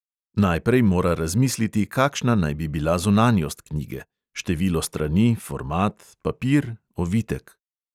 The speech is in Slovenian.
Najprej mora razmisliti, kakšna naj bi bila zunanjost knjige: število strani, format, papir, ovitek …